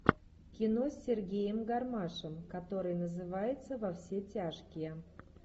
кино с сергеем гармашем который называется во все тяжкие